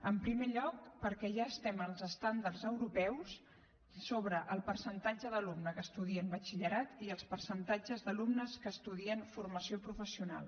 en primer lloc perquè ja estem als estàndards europeus sobre el percentatge d’alumnes que estudien batxillerat i els percentatges d’alumnes que estudien formació professional